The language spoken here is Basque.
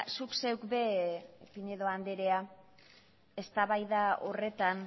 zuk zeuk ere piñero andrea eztabaida horretan